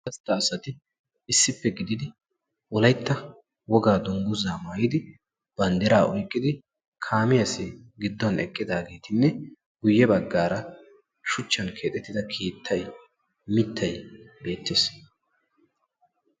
gastta asati issippe gidid wolaytta wogaa dungguza maayyidi banddira oyqqidi kaamiyaasi gidduwan eqqidaageetinne guyye baggara shuchchan keexxetida keettay, mittay beettees.